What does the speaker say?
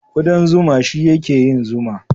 Kuɗan zuma shi ya ke yin zuma